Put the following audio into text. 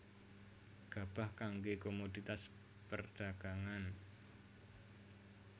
Gabah kanggé komoditas perdhagangan